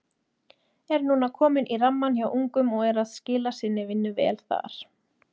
Er núna kominn í rammann hjá ungum og er að skila sinni vinnu vel þar.